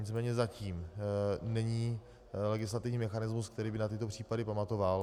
Nicméně zatím není legislativní mechanismus, který by na tyto případy pamatoval.